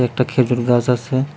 একটা খেজুর গাশ আছে।